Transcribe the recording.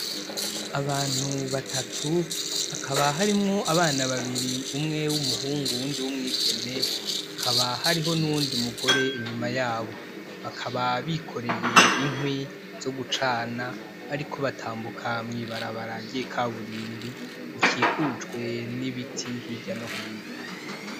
Abantu batatu, hakaba harimwo abana babiri, umwe w'umuhungu nuwundi w'umwigeme. Hakaba hari nuwundi mugore inyuma yabo. Bakaba bikoreye inkwi zogucana, bariko batambuka mw'ibarabara ry'ikaburimbi rikikujwe nibiti hirya no hino.